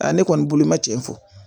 ne kɔni bolo ma cɛ fo